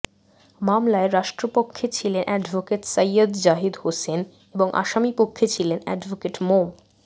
মামলায় রাষ্ট্রপক্ষে ছিলেন অ্যাডভোকেট সৈয়দ জাহিদ হোসেন এবং আসামিপক্ষে ছিলেন অ্যাডভোকেট মো